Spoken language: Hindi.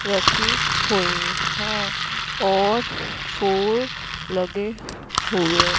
रखे हुए हैं और फूल लगे हुए--